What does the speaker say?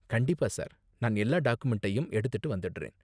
கண்டிப்பா, சார்! நான் எல்லா டாக்குமெண்ட்டையும் எடுத்துட்டு வந்திடுறேன்.